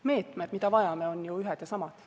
Meetmed, mida vajame, on ju ühed ja samad.